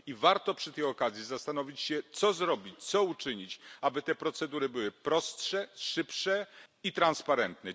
Warto przy tej okazji zastanowić się, co zrobić, co uczynić, aby te procedury były prostsze, szybsze i transparentne.